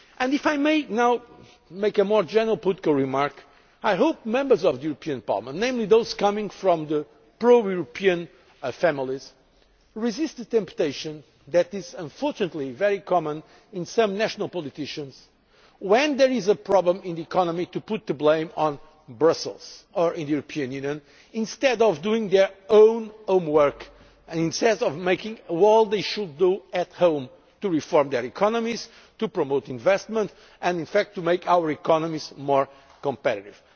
If I may now make a more general political remark, I hope that Members of the European Parliament, namely those coming from the pro European families, resist the temptation that is unfortunately very common among some national politicians when there is a problem in the economy to put the blame on Brussels or on the European Union, instead of doing their own homework and instead of doing what they should do at home to reform their economies, to promote investment and in fact to make our economies more competitive.